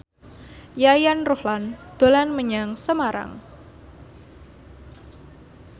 Yayan Ruhlan dolan menyang Semarang